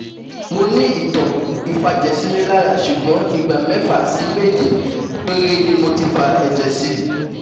Mo ní ìtàn ìfàjẹ̀sínilára ṣùgbọ́n ìgbà mẹ́fà sí méje péré ni mo ti fa ẹ̀jẹ̀ sí